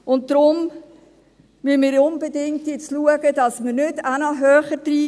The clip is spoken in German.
Deshalb müssen wir jetzt unbedingt schauen, dass wir nicht auch noch höher werden.